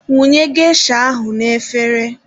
Wụnye gesha ahụ n'efere